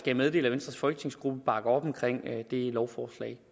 jeg meddele at venstres folketingsgruppe bakker op omkring lovforslaget